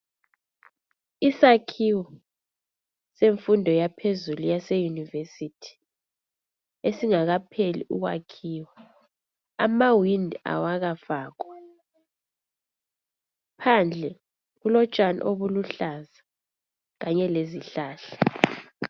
Isakhiwo senfundo yaphezulu yase yunivesithi. Esingakapheli ukwakhiwa ,Amawindi awakafakwa .Phandle kulotshani obuluhlaza kanye lezihlahla.